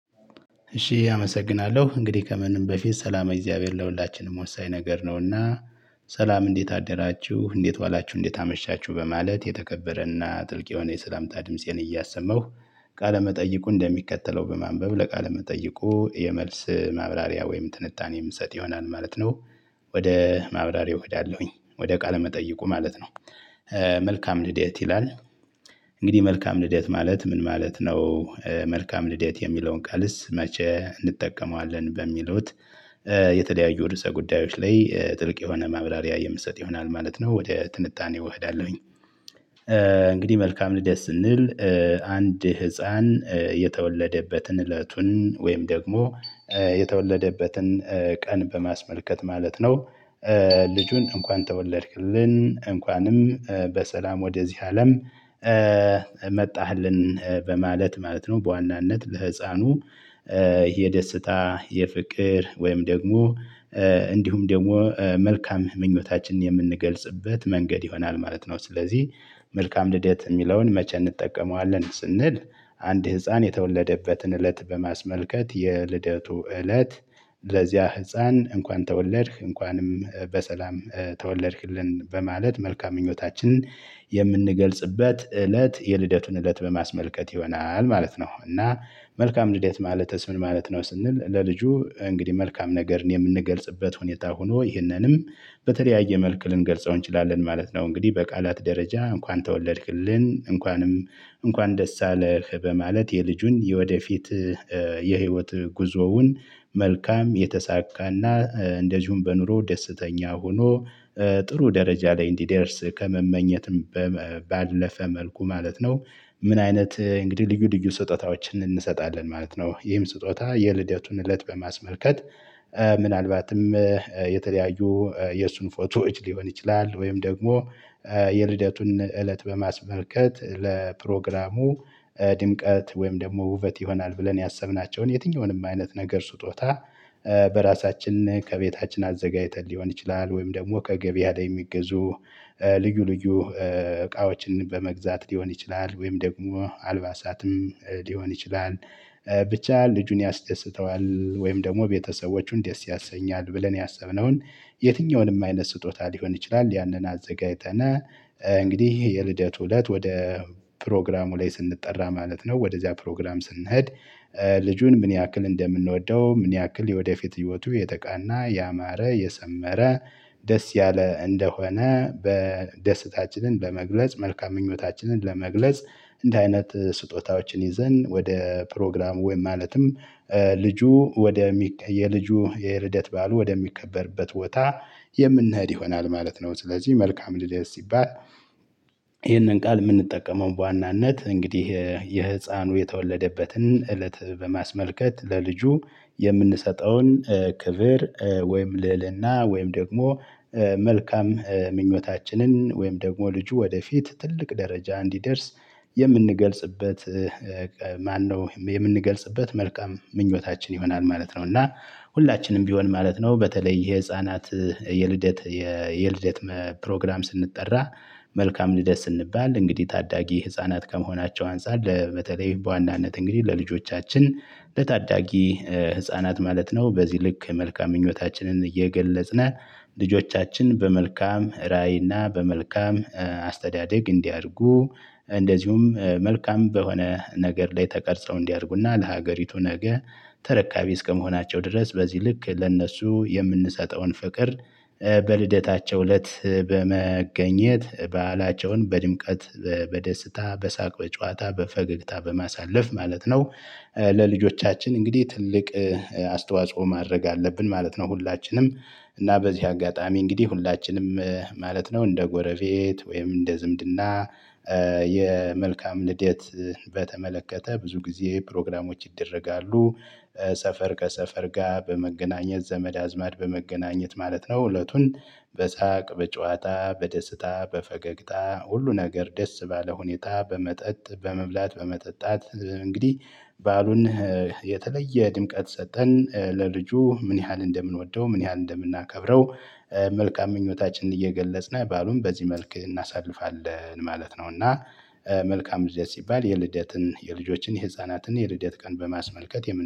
እሺ አመሰግናለሁ እንግዲህ ከምንም በፊት ሰላም እግዚአብሔር ለሁላችንም ወሳኝ ነገር ነውና። ሰላም እንዴት አደራችሁ እንዴት ዋላችሁ እንዴት አመሻችሁ በማለት የተከበረና ጥልቅ የሆነ የሰላምታ ድምፄን እያሰማሁ። ቃለመጠይቁ እንደሚከተለው በማንበብ ለቃለመጠይቁ የመልስ ማብራሪያ ወይም ትንታኔ የምሰጥ ይሆናል ማለት ነው። ወደ ማብራሪያ እሄዳለሁኝ ወደ ቃለ መጠይቁ ማለት ነው። መልካም ልደት ይላል። እንግዲህ መልካም ልደት ማለት ምን ማለት ነው? መልካም ልደት የሚለውን ቃልስ መቼ እንጠቀመዋለን በሚሉት? የተለያዩ ርዕሰ ጉዳዮች ላይ ጥልቅ የሆነ መብራሪያ የምትሰጥ ይሆናል ማለት ነው ወደ ትንታኔው እኸዳለሁኝ። እንግዲህ መልካም ልደት ስንል አንድ ህፃን የተወለደበትን እለቱን ወይም ደግሞ የተወለደበትን ቀን በማስመልከት ማለት ነው። ልጁን እንኳን ተወለድክልን እንኳንም በሰላም ወደዚህ አለም መጣህልን በማለት ማለት ነው በዋናነት ለህፃኑ። የደስታ የፍቅር ወይም ደግሞ እንዲሁም ደግሞ መልካም ምኞታችንን የምንገልጽበት መንገድ ይሆናል ማለት ነው። ስለዚህ መልካም ልደት ሚለውን መቼ እንጠቀመዋለን ስንል? አንድ ህፃን የተወለደበትን እለት በማስመልከት የልደቱ እለት። ለዚያ ህፃን እንኳን ተወለድክ እንኳንም በሰላም ተወለድክልን በማለት መልካም ምኞታችንን የምንገልጽበት እለት የልደቱን እለት በማስመልከት ይሆናል ማለት ነው። እና መልካም ልደት ማለትስ ምን ማለት ነው? ስንል ለልጁ እንግዲህ መልካም ነገርን የምንገልጽበት ሁኔታ ሆኖ ይህንንም በተለያየ መልክ ልንገልጸው እንችላለን ማለት ነው። እንግዲህ በቃላት ደረጃ እንኳን ተወለድክልን እንኳንም እንኳን ደስ አለህ በማለት የልጁን የወደፊት የህይወት ጉዞውን መልካም የተሳካና እንደዚሁም በኑሮ ደስተኛ ሆኖ ጥሩ ደረጃ ላይ እንዲደርስ ከመመኘት ባለፈ መልኩ ማለት ነው። ምን አይነት እንግዲህ ልዩ ልዩ ስጦታዎችን እንሰጣለን ማለት ነው? ይህም ስጦታ የልደቱን እለት በማስመልከት ምናልባትም የተለያዩ የእሱን ፎቶዎች ሊሆን ይችላል። ወይም ደግሞ የልደቱን እለት በማስመልከት ለፕሮግራሙ ድምቀት ወይም ደግሞ ውበት ይሆናል ብለን ያሰብናቸውን የትኛውንም አይነት ነገር ስጦታ በራሳችን ከቤታችን አዘጋጅተን ሊሆን ይችላል። ወይም ደግሞ ከገበያ ላይ የሚገዙ ልዩ ልዩ እቃዎችን በመግዛት ሊሆን ይችላል። ወይም ደግሞ አልባሳትም ሊሆን ይችላል። ብቻ ልጁን ያስደስተዋል ወይም ደግሞ ቤተሰቦቹን ደስ ያሰኛል ብለን ያሰብነውን የትኛውንም አይነት ስጦታ ሊሆን ይችላል። ያንን አዘጋጅተን እንግዲህ የልደቱ እለት ወደ ፕሮግራሙ ላይ ስንጠራ ማለት ነው። ወደዚያ ፕሮግራም ስንሄድ። ልጁን ምን ያክል እንደምንወደው ምን ያክል የወደፊት ህይወቱ የተቃና ያማረ የሰመረ ደስ ያለ እንደሆነ በደስታችንን በመግለጽ መልካም ምኞታችንን ለመግለጽ እንደ አይነት ስጦታዎችን ይዘን ወደ ፕሮግራሙ ወይም ማለትም ልጁ ወደ የልጁ የልደት በዓሉ ወደሚከበርበት ቦታ የምንሄድ ይሆናል ማለት ነው። ስለዚህ መልካም ልደት ሲባል። ይህንን ቃል የምንጠቀመው በዋናነት እንግዲህ የህፃኑ የተወለደበትን እለት በማስመልከት ለልጁ የምንሰጠውን ክብር ወይም ልዕልና ወይም ደግሞ መልካም ምኞታችንን ወይም ደግሞ ልጁ ወደፊት ትልቅ ደረጃ እንዲደርስ የምንገልጽበት ማነው የምንገልጽበት መልካም ምኞታችን ይሆናል ማለት ነው። እና ሁላችንም ቢሆን ማለት ነው። በተለይ የህፃናት የልደት የልደት ፕሮግራም ስንጠራ መልካም ልደት ስንባል እንግዲህ ታዳጊ ህፃናት ከመሆናቸው አንፃር ለበተለይ በዋናነት እንግዲህ ለልጆቻችን ለታዳጊ ህፃናት ማለት ነው። በዚህ ልክ መልካም ምኞታችንን እየገለጽነን ልጆቻችን በመልካም ራዕይ እና በመልካም አስተዳደግ እንዲያድጉ እንደዚሁም መልካም በሆነ ነገር ላይ ተቀርጸው እንዲያድጉና ለሀገሪቱ ነገ ተረካቢ እስከመሆናቸው ድረስ በዚህ ልክ ለእነሱ የምንሰጠውን ፍቅር በልደታቸው እለት በመገኘት በዓላቸውን በድምቀት በደስታ በሳቅ በጨዋታ በፈገግታ በማሳለፍ ማለት ነው። ለልጆቻችን እንግዲህ ትልቅ አስተዋጽኦ ማድረግ አለብን ማለት ነው። ሁላችንም እና በዚህ አጋጣሚ እንግዲህ ሁላችንም ማለት ነው እንደ ጎረቤት ወይም እንደ ዝምድና የመልካም ልደት በተመለከተ ብዙ ጊዜ ፕሮግራሞች ይደረጋሉ። ሰፈር ከሰፈር ጋር በመገናኘት ዘመድ አዝማድ በመገናኘት ማለት ነው። እለቱን በሳቅ በጨዋታ በደስታ በፈገግታ ሁሉ ነገር ደስ ባለ ሁኔታ በመጠጥ በመብላት በመጠጣት እንግዲህ በዓሉን የተለየ ድምቀት ሰጥተንን ለልጁ ምን ያህል እንደምንወደው ምን ያህል እንደምናከብረው መልካም ምኞታችንን እየገለጽን በዓሉን በዚህ መልክ እናሳልፋለን ማለት ነው። እና መልካም ልደት ሲባል የልደትን የልጆችን የህፃናትን የልደት ቀን በማስመልከት